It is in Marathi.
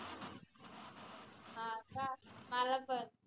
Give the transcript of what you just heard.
माला पन